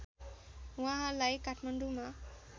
उहाँलाई काठमाडौँमा